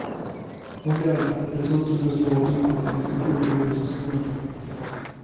Rondellen hade dessutom just varit uppe till diskussion i ortens kommunfullmäktige.